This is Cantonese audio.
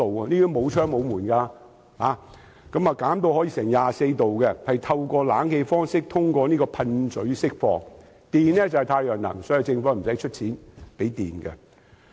它沒有窗戶，也沒有門，經淨化的空氣會以冷氣方式通過噴嘴釋放，可把車站溫度調低至 24℃。